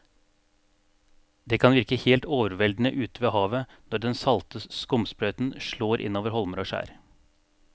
Det kan virke helt overveldende ute ved havet når den salte skumsprøyten slår innover holmer og skjær.